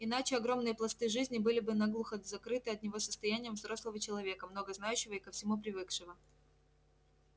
иначе огромные пласты жизни были бы наглухо закрыты от него состоянием взрослого человека много знающего и ко всему привыкшего